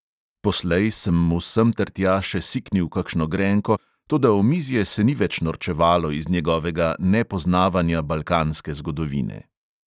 Poslej sem mu semtertja še siknil kakšno grenko, toda omizje se ni več norčevalo iz njegovega nepoznavanja balkanske zgodovine.